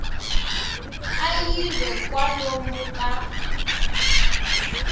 a yi ve kwalomu ka